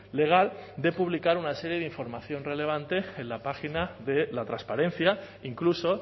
legal de publicar una serie de información relevante en la página de la transparencia incluso